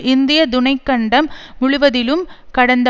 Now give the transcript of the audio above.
இந்திய துணை கண்டம் முழுவதிலும் கடந்த